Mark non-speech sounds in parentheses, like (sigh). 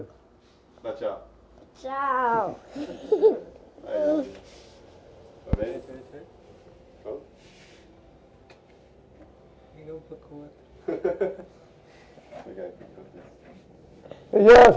Tchau, tchau. Tchau... (laughs)